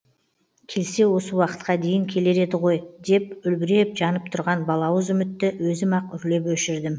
келсе осы уақытқа дейін келер еді ғой деп үлбіреп жанып тұрған балауыз үмітті өзім ақ үрлеп өшірдім